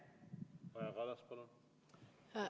Kaja Kallas, palun!